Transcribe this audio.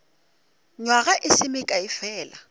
nywaga e se mekae fela